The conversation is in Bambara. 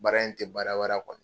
Baara in ti baara